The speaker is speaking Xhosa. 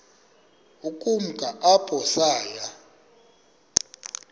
ukumka apho saya